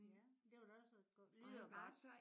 Ja det var da også lyder godt